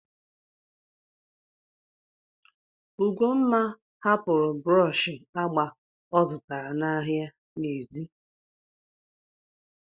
Ugomma hapụrụ brọọshị agba ọ zụtara n'ahịa n'èzí.